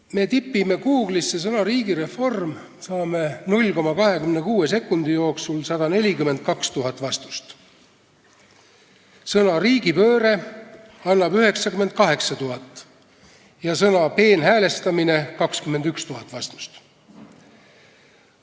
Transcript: Kui me tipime Google'isse sõna ''riigireform'', siis saame 0,26 sekundi jooksul 142 000 vastust, sõna ''riigipööre'' annab 98 000 ja sõna ''peenhäälestamine'' 21 000 vastust.